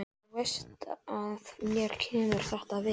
Þú veist að mér kemur þetta við.